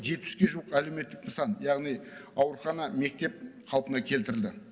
жетпіске жуық әлеуметтік нысан яғни аурухана мектеп қалпына келтірілді